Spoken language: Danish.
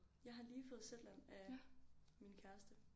Jeg har lige fået Zetland af min kæreste